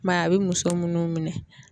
I m'a ye a bɛ muso minnu minɛ.